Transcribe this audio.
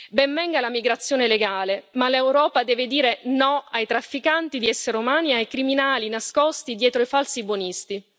Ben venga la migrazione legale, ma l'Europa deve dire no ai trafficanti di esseri umani e ai criminali nascosti dietro ai falsi buonisti!